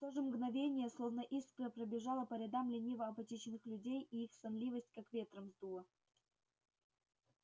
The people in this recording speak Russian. и в то же мгновение словно искра пробежала по рядам лениво-апатичных людей и их сонливость как ветром сдуло